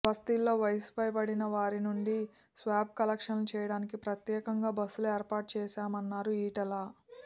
బస్తీల్లో వయసు పై బడిన వారి నుంచి స్వాబ్ కలెక్షన్ చేయడానికి ప్రత్యేకంగా బస్సులు ఏర్పాటు చేశామన్నారు ఈటల